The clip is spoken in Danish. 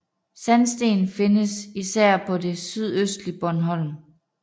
Sandsten findes især på det sydøstlige Bornholm